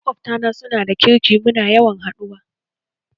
Maƙwabta na su na da kirki muna yawan haɗuwa